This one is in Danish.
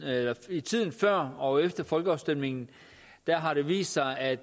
i tiden før og efter folkeafstemningen har det vist sig at